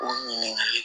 O ɲininkali